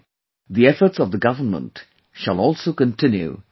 The efforts of the Government shall also continue in future